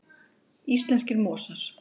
Íslenskir mosar.